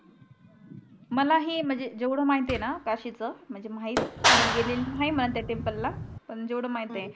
मला हे म्हनजे जेवढं माहित आहे ना काशीच म्हनजे माहित मी गेलेली नाही त्या टेम्पलला पन जेवढं माहित आहे. .